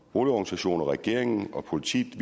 boligorganisationer og regeringen og politiet